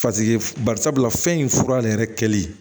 barisabula fɛn in fura yɛrɛ kɛli